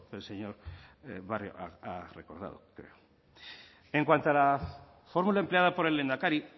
que el señor barrio ha recordado en cuanto a la fórmula empleada por el lehendakari